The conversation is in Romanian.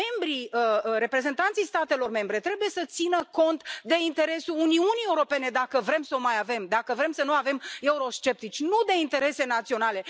Membrii, reprezentanții statelor membre trebuie să țină cont de interesul Uniunii Europene dacă vrem să o mai avem, dacă vrem să nu avem eurosceptici, nu de interese naționale.